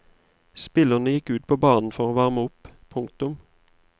Spillerne gikk ut på banen for å varme opp. punktum